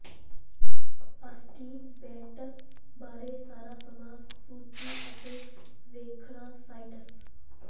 Austin Bates ਬਾਰੇ ਸਾਰਾ ਸਮਾਂ ਸੂਚੀ ਅਤੇ ਵੇਖਣਾ ਸਾਇਟਸ